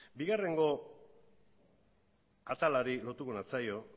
bigarrengo atalari lotuko natzaio